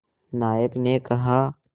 नायक ने कहा